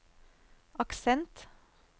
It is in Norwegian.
aksent